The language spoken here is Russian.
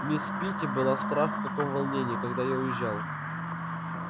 мисс питти была страх в каком волнении когда я уезжал